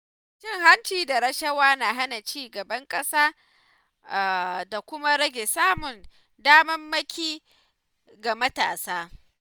Cin hanci da rashawa na hana ci gaban ƙasa da kuma rage samun damammaki ga matasa.